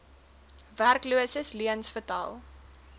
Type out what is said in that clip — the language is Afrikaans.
werkloses leuens vertel